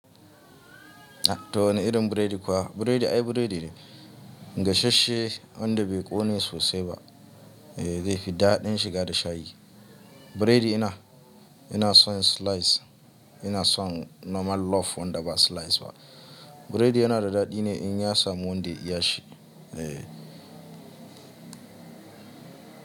To wani irin burodi fa? Buredi ai buredi ne, gashasshe wanda bai ƙone sosai ba, eh zai fi daɗin shiga da shayi. Buredi ina, ina son slice, ina son normal loaf wanda ba slice ba. Buredi yana da daɗi ne in ya samu wanda ya iyashi, eh.